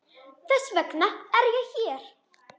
Þess vegna er ég hér.